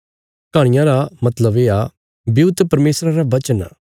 कहाणियां रा मतलब येआ ब्यूआ त परमेशरा रा बचन आ